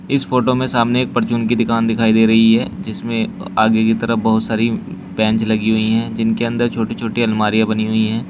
इस फोटो में सामने एक परचून की दुकान दिखाई दे रही है जिसमें आगे की तरफ बहुत सारी बेंच लगी हुई है जिनके अंदर छोटी छोटी अलमारियां बनी हुई है।